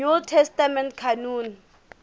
new testament canon